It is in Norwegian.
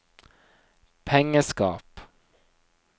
pengeskap